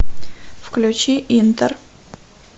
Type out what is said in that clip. включи интер